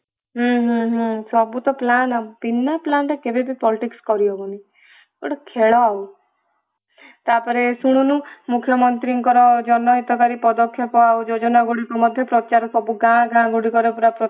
ହୁଁ ହୁଁ ହୁଁ ସବୁ ତ plan ବୀନା plan ରେ କେବେବି politics କରିହବନି ଗୋଟେ ଖେଳ ଆଉ ତାପରେ ଶୁଣୁନୁ ମୁଖ୍ୟମନ୍ତ୍ରୀଙ୍କର ଜନହିତକାରୀ ପଦକ୍ଷେପ ଆଉ ଯୋଜନା ଗୁଡିକ ପ୍ରଚାର ସବୁ ଗାଁ ଗାଁ ଗୁଡିକ ରେ ପୁରା ପ୍ରଚାର